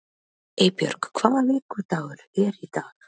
Eybjörg, hvaða vikudagur er í dag?